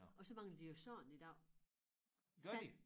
Og så mangler de jo sand i dag sand